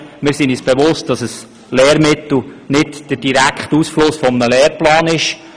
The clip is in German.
Wir sind uns durchaus bewusst, dass ein Lehrmittel nicht der direkte Ausfluss eines Lehrplans ist.